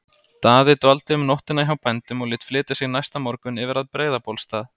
Daði dvaldi um nóttina hjá bændum og lét flytja sig næsta morgun yfir að Breiðabólsstað.